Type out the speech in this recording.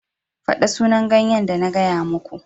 Faɗa sunan ganyen da na gaya muka.